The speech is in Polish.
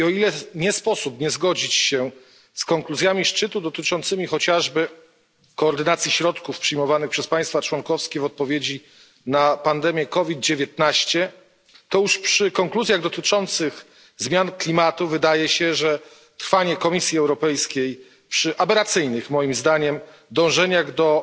I o ile nie sposób nie zgodzić się z konkluzjami szczytu dotyczącymi chociażby koordynacji środków przyjmowanych przez państwa członkowskie w odpowiedzi na pandemię COVID 19, to już przy konkluzjach dotyczących zmian klimatu wydaje się, że trwanie Komisji Europejskiej przy aberracyjnych, moim zdaniem, dążeniach do